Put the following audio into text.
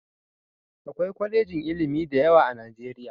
Akwai kwalejin ilimi da yawa a Nijeriya